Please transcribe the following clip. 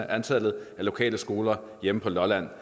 antallet af lokale skoler hjemme på lolland